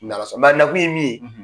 N'Ala sɔn na a na kun ye min ye